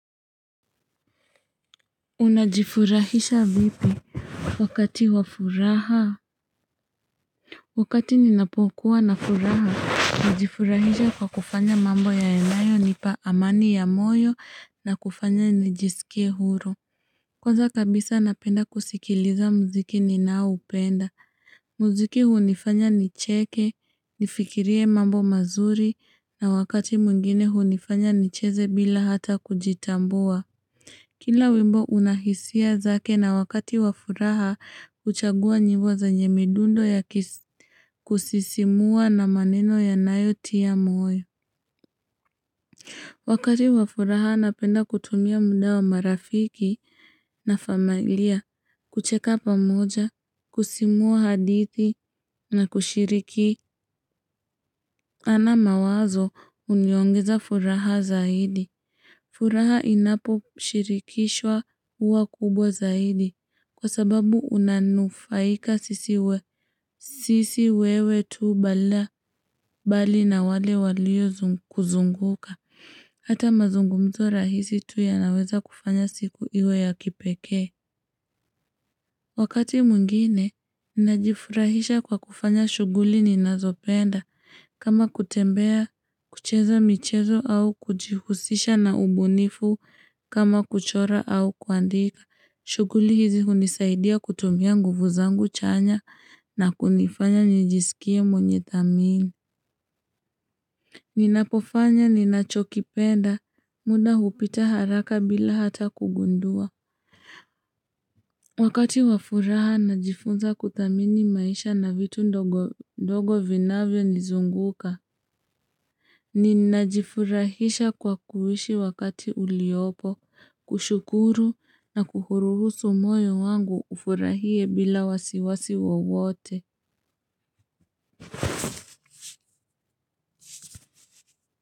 Unajifurahisha vipi wakati wa furaha? Wakati ninapokuwa na furaha, najifurahisha kwa kufanya mambo yanayonipa amani ya moyo na kufanya nijisikie huru. Kwanza kabisa napenda kusikiliza muziki ninaoupenda. Muziki hunifanya nicheke, nifikirie mambo mazuri na wakati mwingine hunifanya nicheze bila hata kujitambua. Kila wimbo unahisia zake na wakati wafuraha huchagua nyimbo zenye midundo ya kusisimua na maneno yanayotia moyo. Wakati wa furaha napenda kutumia muda wa marafiki na familia, kucheka pamoja, kusimua hadithi na kushiriki, ana mawazo huniongeza furaha zaidi. Furaha inaposhirikishwa huwa kubwa zaidi kwa sababu unanufaika sisi wewe tu bali na wale walio kuzunguka. Hata mazungumzo rahisi tu yanaweza kufanya siku iwe ya kipekee. Wakati mwingine, najifurahisha kwa kufanya shughuli ninazopenda. Kama kutembea, kucheza michezo au kujihusisha na ubunifu kama kuchora au kuandika. Shughuli hizi hunisaidia kutumia nguvu zangu chanya na kunifanya njisikie mwenye thamini. Ninapofanya, ninachokipenda, muda hupita haraka bila hata kugundua. Wakati wa furaha najifunza kuthamini maisha na vitu ndogo vinavyonizunguka Ninajifurahisha kwa kuishi wakati uliopo, kushukuru na kuruhusu moyo wangu ufurahie bila wasiwasi wowote.